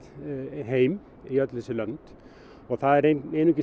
heim í öll þessi lönd og það er einungis